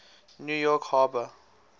new york harbor